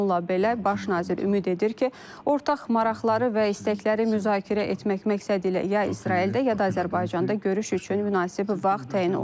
Bununla belə baş nazir ümid edir ki, ortaq maraqları və istəkləri müzakirə etmək məqsədilə ya İsraildə, ya da Azərbaycanda görüş üçün münasib vaxt təyin olunacaq.